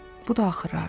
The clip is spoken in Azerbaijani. Bu da axırı.